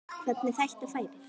Hvernig þetta færi.